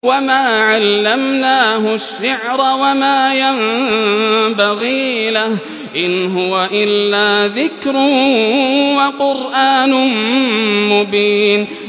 وَمَا عَلَّمْنَاهُ الشِّعْرَ وَمَا يَنبَغِي لَهُ ۚ إِنْ هُوَ إِلَّا ذِكْرٌ وَقُرْآنٌ مُّبِينٌ